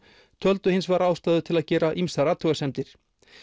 töldu hins vegar ástæðu til að gera ýmsar athugasemdir